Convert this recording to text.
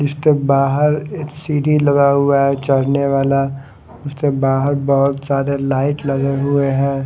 इसके बाहर एक सीढ़ी लगा हुआ है चढ़ने वाला उसके बाहर बहोत सारे लाइट लगे हुए है।